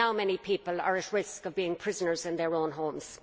Now many people are at risk of being prisoners in their own homes.